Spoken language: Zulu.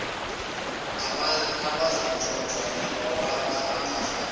abazonatshwa ingoba bengafanele